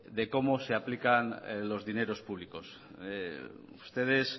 de cómo se aplican los dineros públicos ustedes